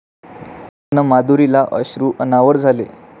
अन् माधुरीला अश्रू अनावर झाले